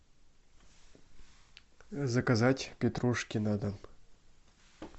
заказать петрушки на дом